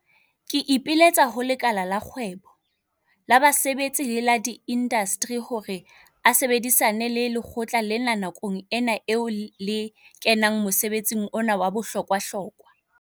Ke ipiletsa ho lekala la kgwebo, la basebetsi le la diinasteri hore a sebedisane le lekgotla lena nakong ena eo le kenang mosebetsing ona wa bohlokwahlokwa.